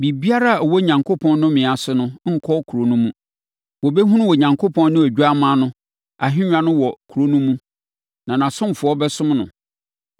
Biribiara a ɛwɔ Onyankopɔn nnome ase no nkɔ kuro no mu. Wɔbɛhunu Onyankopɔn ne Odwammaa no ahennwa wɔ kuro no mu na nʼasomfoɔ bɛsom no.